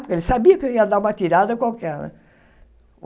Ele sabia que eu ia dar uma tirada qualquer né.